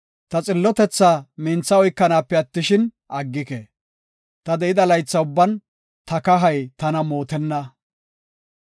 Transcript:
Ta xillotethaa mintha oykanaape attishin, aggike; ta de7ida laytha ubban ta kahay tana mootenna.